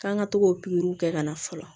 K'an ka to k'o pikiriw kɛ ka na fɔlɔ